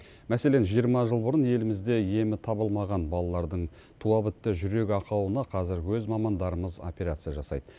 мәселен жиырма жыл бұрын елімізде емі табылмаған балалардың туа бітті жүрек ақауына қазір өз мамандарымыз операция жасайды